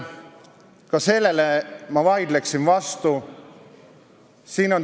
Ma vaidleksin sellele vastu.